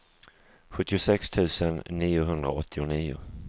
sjuttiosex tusen niohundraåttionio